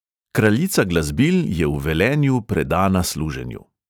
Kraljica glasbil je v velenju predana služenju.